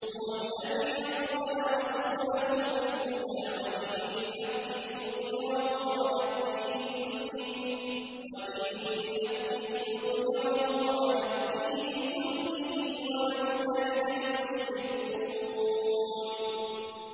هُوَ الَّذِي أَرْسَلَ رَسُولَهُ بِالْهُدَىٰ وَدِينِ الْحَقِّ لِيُظْهِرَهُ عَلَى الدِّينِ كُلِّهِ وَلَوْ كَرِهَ الْمُشْرِكُونَ